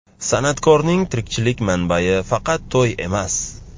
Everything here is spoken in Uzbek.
San’atkorning tirikchilik manbai faqat to‘y emas.